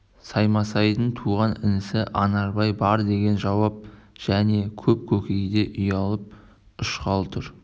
саймасайдың туған інісі анарбай бар деген жауап және көп көкейде ұялап ұшқалы тұр